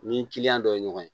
Ni kiliyan dɔ ye ɲɔgɔn ye